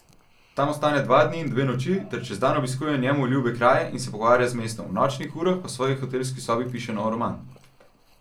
Tam ostane dva dni in dve noči ter čez dan obiskuje njemu ljube kraje in se pogovarja z mestom, v nočnih urah pa v svoji hotelski sobi piše nov roman.